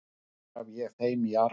Það gef ég þeim í arf.